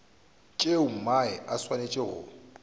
tšeo mae a swanetšego go